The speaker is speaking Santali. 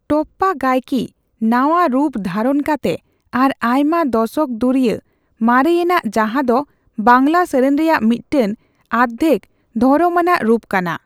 ᱴᱚᱯᱯᱟ ᱜᱟᱭᱚᱠᱤ ᱱᱟᱣᱟ ᱨᱩᱯ ᱫᱷᱟᱨᱚᱱ ᱠᱟᱛᱮ ᱟᱨ ᱟᱭᱢᱟ ᱫᱚᱥᱚᱠ ᱫᱩᱨᱭᱟᱹ ᱢᱟᱨᱮᱭᱮᱱᱟᱜ ᱡᱟᱦᱟᱸ ᱫᱚ ᱵᱟᱝᱞᱟ ᱥᱮᱨᱮᱧ ᱨᱮᱭᱟᱜ ᱢᱤᱫᱴᱮᱱ ᱟᱫᱽᱫᱷᱮᱠᱼᱫᱷᱚᱨᱚᱢᱟᱱᱟᱜ ᱨᱩᱯ ᱠᱟᱱᱟ ᱾